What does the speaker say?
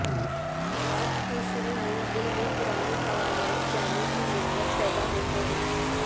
بدعت کے شروع میں دل میں پرانے قوانین جانے کی نسبت پیدا ہوتے ہیں